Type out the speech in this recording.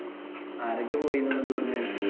ആരൊക്കെ പോയത് എന്നിട്ട് ഇവിടുന്നു?